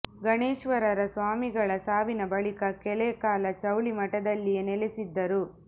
ಗಣೇಶ್ವರರ ಸ್ವಾಮೀಗಳ ಸಾವಿನ ಬಳಿಕ ಕೆಲ ಕಾಲ ಚೌಳಿ ಮಠದಲ್ಲಿಯೇ ನೆಲೆಸಿದ್ದರು